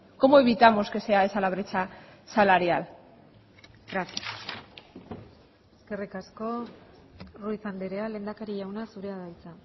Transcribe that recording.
cómo evitamos que sea esa la brecha salarial gracias eskerrik asko ruíz andrea lehendakari jauna zurea da hitza